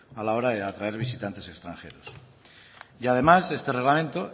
a la hora de atraer visitantes extranjeros y además este reglamento